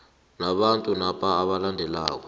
nabantu napa abalandelako